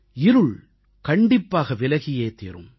இருள் கண்டிப்பாக விலகியே தீரும்